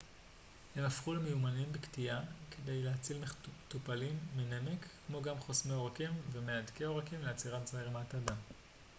הם הפכו למיומנים בקטיעה בכדי להציל מטופלים מנמק כמו גם חוסמי עורקים ומהדקי עורקים לעצירת זרימת הדם